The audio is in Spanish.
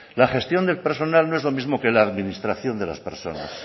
la gestión del personal no es lo mismo que la administración de las personas